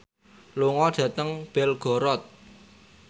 lunga dhateng Belgorod